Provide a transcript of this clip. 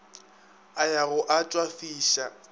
a ya go a tšwafiša